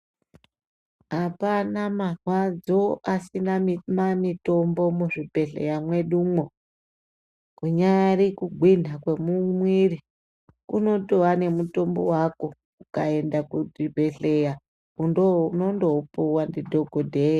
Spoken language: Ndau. Apana marwadzo asina mitombo muzvibhedhlera mwedumo. Kunyari kugwinha kwemwiri, kunotova nemutombo wako, ukaenda kuzvibhedhlera unondoupuwa ndidhogodheya.